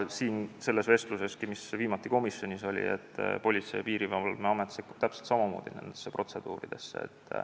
Selleski vestluses, mis viimati komisjonis oli, selgus, et Politsei- ja Piirivalveamet sekkub täpselt samamoodi nendesse protseduuridesse.